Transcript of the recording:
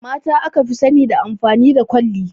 Mata aka fi sani da amfani da kwalli